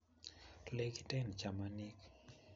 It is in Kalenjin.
lekiten chamanik